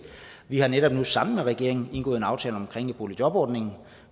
vi har netop nu sammen med regeringen indgået en aftale om boligjobordningen